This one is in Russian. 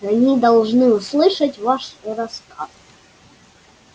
они должны услышать ваш рассказ